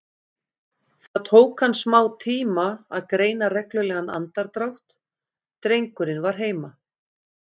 Það tók hann smátíma að greina reglulegan andardrátt, drengurinn var heima.